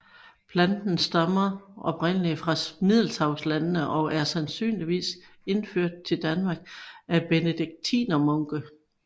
Planten stammer oprindelig fra middelhavslandene og er sandsynligvis indført til Danmark af benediktinermunke